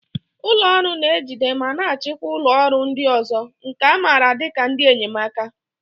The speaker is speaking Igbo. Ụlọ ọrụ na-ejide ma na-achịkwa ụlọ ọrụ ndị ọzọ, nke a maara dị ka ndị enyemaka.